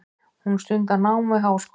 Hún stundar nám við háskólann.